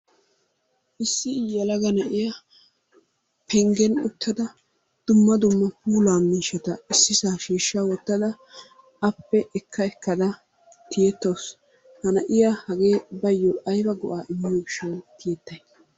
Issi yelaga na"iya penggen uttada dumma dumma puulaa miishshata issisaa shiishsa wottada appe ekka ekkada tiyettawusu. Ha na'iya hagee bayyoo ayiba go'aa immiyo gishshaayyo tiyettay?